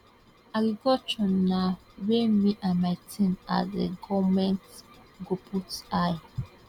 agriculture na wia me and my team as a goment go put eye